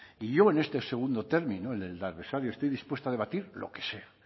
y yo en este segundo término en el del adversario estoy dispuesto a debatir lo que sea